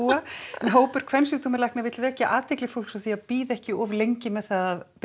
hópur kvensjúkdómalækna vill vekja athygli fólks á því að bíða ekki of lengi með að